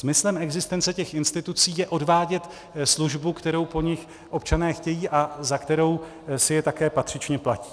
Smyslem existence těch institucí je odvádět službu, kterou po nich občané chtějí a za kterou si je také patřičně platí.